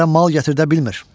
Şəhərə mal gətirdə bilmir.